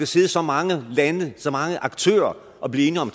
sidde så mange lande så mange aktører og blive enige om